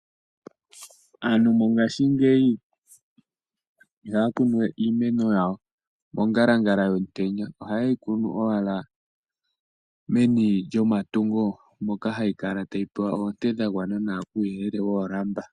Aantu mongaashingeyi iha ya kunuwe iimeno yawo mongalangala yomutenya oha yeyi kunu owala meni lyomatungo moka hayi kala tayi pewa oonte dha gwana nawa kuuyelele woolamba.